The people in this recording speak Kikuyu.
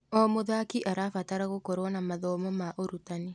O mũthaki arabatara gũkorwo na mathomo ma ũrutani.